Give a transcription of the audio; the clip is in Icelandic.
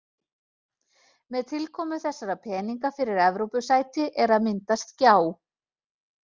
Með tilkomu þessara peninga fyrir Evrópusæti er að myndast gjá.